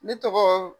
Ne tɔgɔ